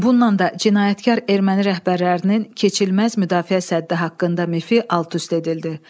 Bununla da cinayətkar erməni rəhbərlərinin keçilməz müdafiə səddi haqqında mifi alt-üst edildi.